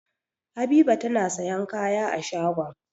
Habiba tana sayan kaya a shagon.